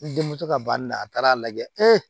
N denmuso ka banni na a taara a lajɛ